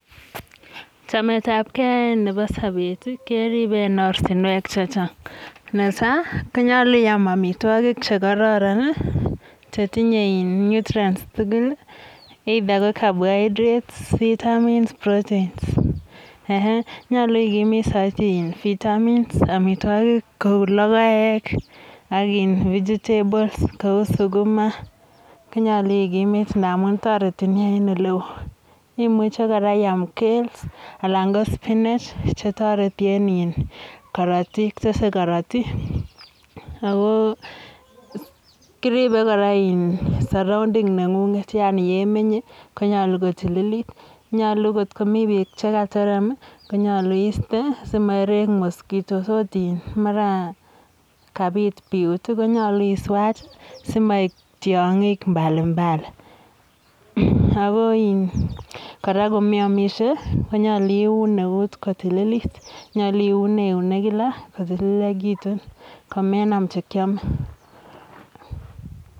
Chametabgei nebo sobet keribe en ortinwek che chang. Netai ko nyolu iam amitwogik che kororon che tinyei nutrients tugul either ko carbohydrates, vitamins, proteins. um nyolu ikimit saiti vitamins amitwogik kou lokoek aki um vegetables kou sukuma, konyolu ikimit namun toriti ni en ole eoo. Imuche kora iam kales anan ko sinach che toreti en korotik, tesei korotik ako kiribe kora sorrounding neng'ung'et yaani um ye imenye ko nyalu ko tililit, nyalu kotkomi beek che katerem konyalu iiste simaireny mosquitoes oot in mara kabiit biut konyolu iswach simaib tyong'ik mbalimbali. Ako in kora komaimishe ko nyalu iun eut kotililit, nyolu iune eunek kila kutililekitun komenam chikiame.